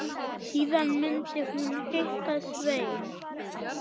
Síðan myndi hún hitta Svein.